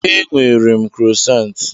Enwere m krosant.